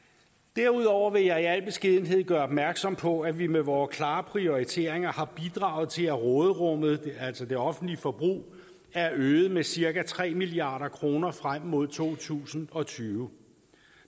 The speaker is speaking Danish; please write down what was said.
derudover vil jeg i al beskedenhed gøre opmærksom på at vi med vore klare prioriteringer har bidraget til at råderummet altså det offentlige forbrug er øget med cirka tre milliard kroner frem mod to tusind og tyve